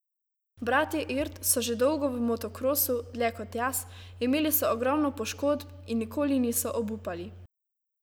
Bratje Irt so že dolgo v motokrosu, dlje kot jaz, imeli so ogromno poškodb in nikoli niso obupali.